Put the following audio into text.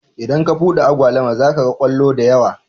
Idan ka buɗe agwaluma zaka ga kwallo da yawa